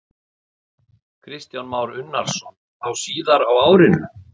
Kristján Már Unnarsson: Þá síðar á árinu?